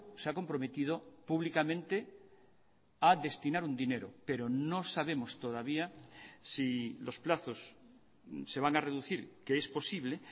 se ha comprometido públicamente a destinar un dinero pero no sabemos todavía si losplazos se van a reducir que es posible